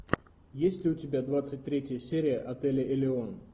есть ли у тебя двадцать третья серия отеля элеон